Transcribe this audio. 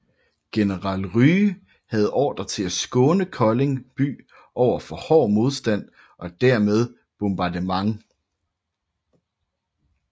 General Rye havde ordre til at skåne Kolding by over for hård modstand og dermed bombardement